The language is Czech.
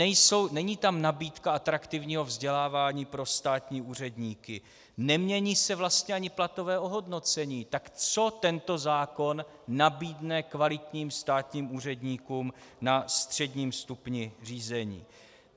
Není tam nabídka atraktivního vzdělávání pro státní úředníky, nemění se vlastně ani platové ohodnocení, tak co tento zákon nabídne kvalitním státním úředníkům na středním stupni řízení?